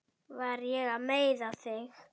Var ég að meiða þig?